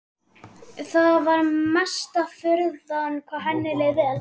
Það var mesta furða hvað henni leið vel.